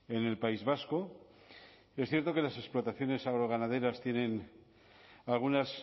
en el país vasco es cierto que las explotaciones agroganaderas tienen algunas